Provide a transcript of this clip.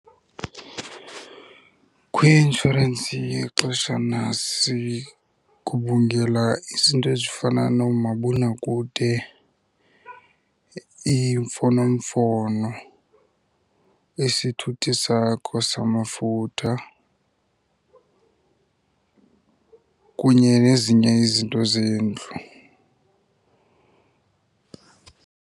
Kwi-inshorensi yexeshana sigubungela izinto ezifana noomabonakude, iimfonomfono, isithuthi sakho samafutha kunye nezinye izinto zendlu.